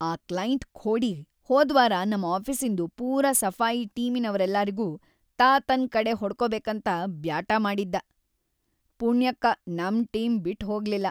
ಆ ಕ್ಲೈಂಟ್‌ ಖೋಡಿ ಹೋದ್ವಾರ ನಮ್ ಆಫೀಸಿನ್ದು ಪೂರಾ ಸಫಾಯಿ ಟೀಮಿನವ್ರೆಲ್ಲಾರಿಗೂ ತಾ ತನ್‌ ಕಡೆ ಹೊಡ್ಕೋಬೇಕಂತ ಬ್ಯಾಟಾ ಮಾಡಿದ್ದಾ. ಪುಣ್ಯಕ್ಕ, ನಮ್ ಟೀಮ್ ಬಿಟ್‌ಹೋಗ್ಲಿಲ್ಲ.